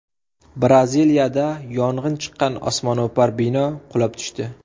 Braziliyada yong‘in chiqqan osmono‘par bino qulab tushdi.